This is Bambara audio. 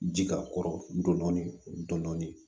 Ji ka kɔrɔ dɔɔni